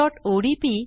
sample impressओडीपी